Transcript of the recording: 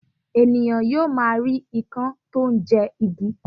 Ènìyàn yóò máa rí ikán tó ń jẹ igi